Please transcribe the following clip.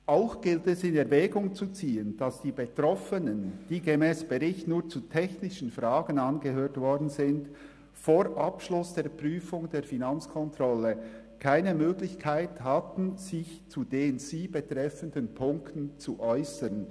Auch gilt es in Erwägung zu ziehen, dass die Betroffenen, die gemäss Bericht nur zu technischen Fragen angehört worden sind, vor Abschluss der Prüfung der Finanzkontrolle keine Möglichkeit hatten, sich zu den sie betreffenden Punkten zu äussern.